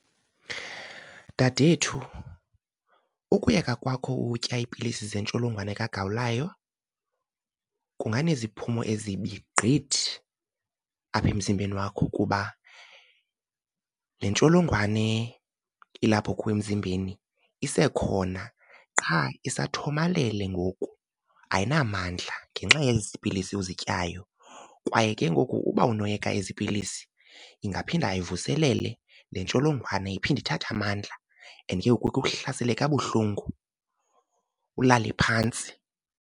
Dadethu, ukuyeka kwakho utya iipilisi zentsholongwane kagawulayo kunganeziphumo ezibi gqithi apha emzimbeni wakho, kuba le ntsholongwane ilapho kuwe emzimbeni isekhona qha isathomalele ngoku ayinamandla ngenxa yezi pilisi uzityayo. Kwaye ke ngoku uba unoyeka ezi pilisi ingaphinda ivuselele le ntsholongwane, iphinde ithathe amandla and ke ngoku ikuhlasele kabuhlungu ulale phantsi.